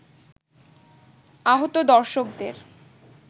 আহত দর্শকদের